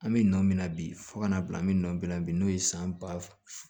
An bɛ nɔ min na bi fo kana bila an bɛ nɔnɔn min na bi n'o ye san ba